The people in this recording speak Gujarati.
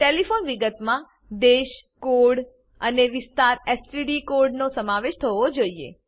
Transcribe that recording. ટેલીફોન વિગતમાં દેશ કોડ આઈએસડી કોડ અને વિસ્તારએસટીડી કોડનો સમાવેશ થવો જોઈએ